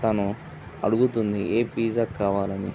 తనూ అడుగుతుంది ఏ పిజ్జా కావాలని.